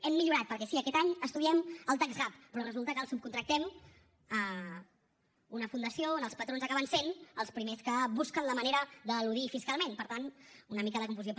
hem millorat perquè sí aquest any estudiem el tax gap però resulta que el subcontractem a una fundació on els patrons acaben sent els primers que busquen la manera d’eludir fiscalment per tant una mica de confusió